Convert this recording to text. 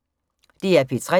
DR P3